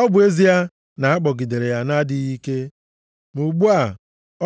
Ọ bụ ezie na a kpọgidere ya na-adịghị ike, ma ugbu a,